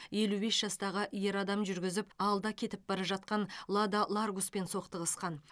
елу бес жастағы ер адам жүргізіп алда кетіп бара жатқан лада ларгуспен соқтығысқан